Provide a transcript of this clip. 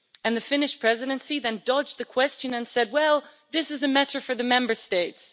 The Finnish Presidency then dodged the question and said, well, this is a matter for the Member States.